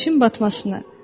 Günəşin batmasını.